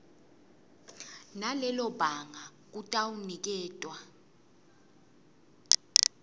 nalelo banga kutawuniketwa